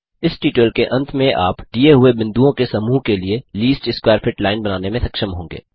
इस ट्यूटोरियल के अंत में आप दिए हुए बिन्दुओं के समूह के लिए लीस्ट स्कवैर फिट लाइन बनाने में सक्षम होंगे